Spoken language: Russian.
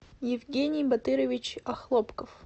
евгений батырович охлопков